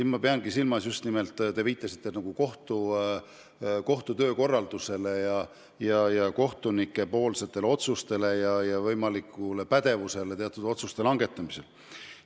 Ma peangi silmas just nimelt seda, et te viitasite kohtu töökorraldusele ja kohtunike otsustele, nende pädevusele teatud otsuste langetamisel.